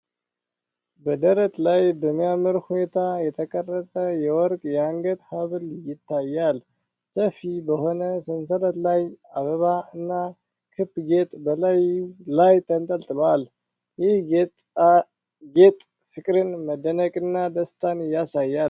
በደረት ላይ በሚያምር ሁኔታ የተቀረጸ የወርቅ የአንገት ሐብል ይታያል። ሰፊ በሆነ ሰንሰለት ላይ አበባ እና ክብ ጌጥ በላዩ ላይ ተንጠልጥሏል። ይህ ጌጣጌጥ ፍቅርን፣ መደነቅንና ደስታን ያሳያል።